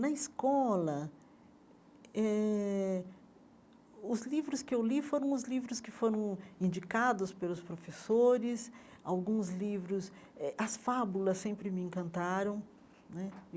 Na escola eh, os livros que eu li foram os livros que foram indicados pelos professores, alguns livros... eh as fábulas sempre me encantaram né.